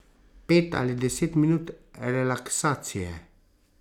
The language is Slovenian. Pet ali deset minut relaksacije.